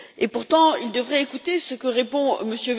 Pourtant, il devrait écouter ce que répond M.